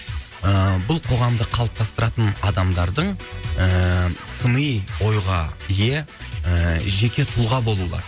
ыыы бұл қоғамды қалыптастыратын адамдардың ыыы сыни ойға ие ыыы жеке тұлға болуы